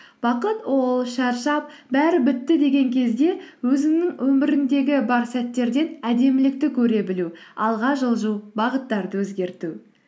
бақыт ол шаршап бәрі бітті деген кезде өзіңнің өміріңдегі бар сәттерден әдемілікті көре білу алға жылжу бағыттарды өзгерту